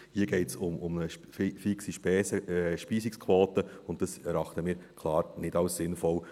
Hier geht es um eine fixe Speisungsquote, und dies erachten wir klar als nicht sinnvoll.